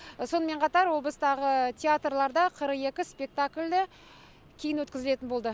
сонымен қатар облыстағы театрларда қырық екі спектакль кейін өткізілетін болды